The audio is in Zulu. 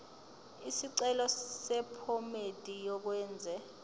isicelo sephomedi yokwenze